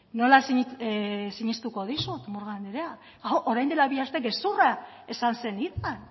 nola sinistuko dizut murgan anderea hau orain dela bi aste gezurra esan zenidan